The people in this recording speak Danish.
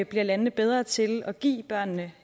bliver landene bedre til at give børnene